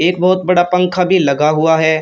एक बहोत बड़ा पंखा भी लगा हुआ है।